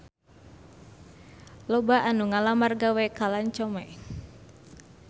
Loba anu ngalamar gawe ka Lancome